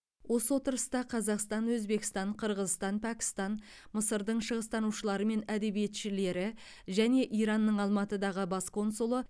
осы отырыста қазақстан өзбекстан қырғызстан пәкістан мысырдың шығыстанушылары мен әдебиетшілері және иранның алматыдағы бас консулы